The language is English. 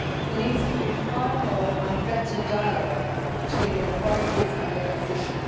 There needs to be far more and better dialogue between the authorities and the opposition.